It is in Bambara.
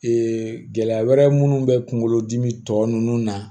Ee gɛlɛya wɛrɛ munnu bɛ kunkolo dimi tɔ nunnu na